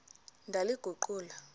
ndaliguqula